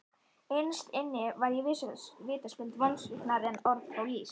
Innst inni var ég vitaskuld vonsviknari en orð fá lýst.